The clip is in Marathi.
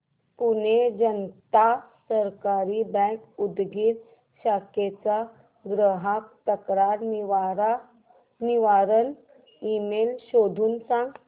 पुणे जनता सहकारी बँक उदगीर शाखेचा ग्राहक तक्रार निवारण ईमेल शोधून सांग